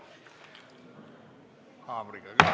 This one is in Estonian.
Löön haamriga ka.